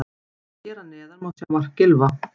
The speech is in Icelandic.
Hér að neðan má sjá mark Gylfa.